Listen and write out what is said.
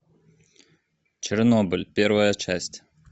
чернобыль первая часть